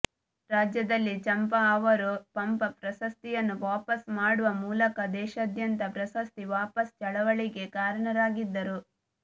ರಾಜ್ಯದಲ್ಲಿ ಚಂಪಾ ಅವರು ಪಂಪ ಪ್ರಶಸ್ತಿಯನ್ನು ವಾಪಸ್ ಮಾಡುವ ಮೂಲಕ ದೇಶಾದ್ಯಂತ ಪ್ರಶಸ್ತಿ ವಾಪಸ್ ಚಳವಳಿಗೆ ಕಾರಣರಾಗಿದ್ದರು